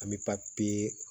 An bɛ